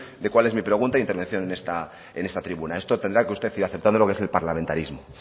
de cuál es mi pregunta e intervención en esta tribuna esto tendrá que usted ir aceptando lo que es el parlamentarismo